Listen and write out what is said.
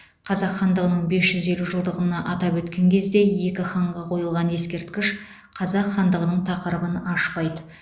қазақ хандығының бес жүз елу жылдығын атап өткен кезде екі ханға қойылған ескерткіш қазақ хандығының тақырыбын ашпайды